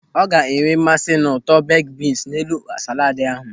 Ọ ga-enwe mmasị n'ụtọ beik bins n'elu sálàd ahụ.